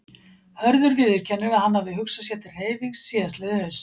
Hörður viðurkennir að hann hafi hugsað sér til hreyfings síðastliðið haust.